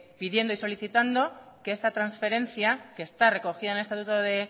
viniendo y solicitando que esta transferencia que está recogida en el estatuto de